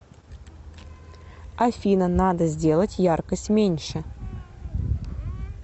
афина надо сделать яркость меньше